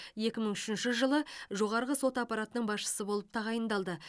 екі мың үшінші жылы жоғарғы сот аппаратының басшысы болып тағайындалды